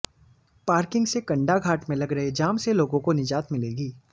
parking से कंडाघाट में लग रहे जाम से लोगों को निजात मिलेगी